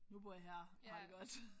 Nu bor jeg her og har det godt